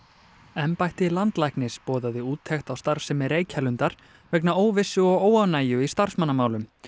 embætti landlæknis boðaði úttekt á starfsemi Reykjalundar vegna óvissu og óánægju í starfsmannamálum